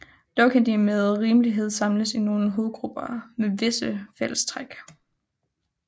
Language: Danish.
Dog kan de med rimelighed samles i nogle hovedgrupper med visse fælles træk